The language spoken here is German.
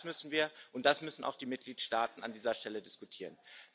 Auch das müssen wir und das müssen auch die Mitgliedstaaten an dieser Stelle diskutieren.